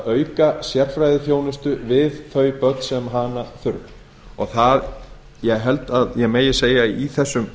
auka sérfræðiþjónustu við þau börn sem hana þurfa ég held að ég megi segja að í þessum